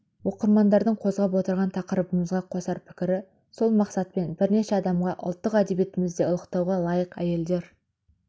оқырмандардың қозғап отырған тақырыбымызға қосар пікірі сол мақсатпен бірнеше адамға ұлттық әдебиетімізде ұлықтауға лайық әйелдер